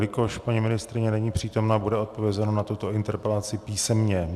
Jelikož paní ministryně není přítomna, bude odpovězeno na tuto interpelaci písemně.